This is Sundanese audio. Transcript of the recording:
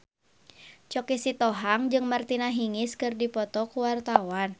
Choky Sitohang jeung Martina Hingis keur dipoto ku wartawan